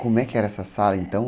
Como é que era essa sala então?